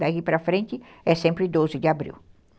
Daí para frente é sempre doze de abril.